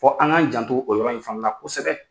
Fɔ an k'an janto o yɔrɔ in fana na kosɛbɛ.